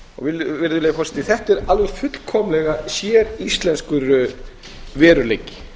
hæstvirts utanríkisráðherra þetta er alveg fullkomlega séríslenskur veruleiki